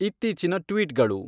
ಇತ್ತೀಚಿನ ಟ್ವೀಟ್ಗಳು